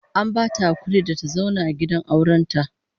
An bata hakuri da ta zauna gidan auren ta